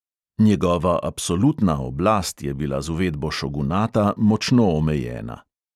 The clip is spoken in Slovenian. Njegova absolutna oblast je bila z uvedbo šogunata močno omejena.